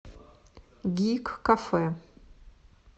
гик кафе